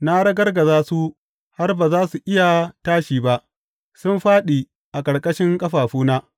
Na ragargaza su har ba za su iya tashi ba; sun fāɗi a ƙarƙashin ƙafafuna.